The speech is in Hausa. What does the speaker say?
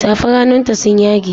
Safar hannun ta sun yage.